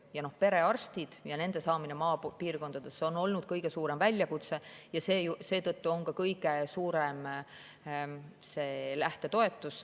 Saada perearste maapiirkonda on olnud kõige suurem väljakutse ja seetõttu on see lähtetoetus kõige suurem.